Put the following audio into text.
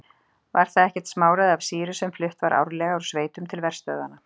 Var það ekkert smáræði af sýru sem flutt var árlega úr sveitum til verstöðvanna.